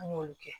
An y'olu kɛ